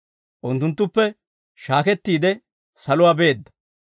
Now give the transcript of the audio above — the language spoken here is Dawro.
Unttunttuppe shaakettiide, saluwaa beedda.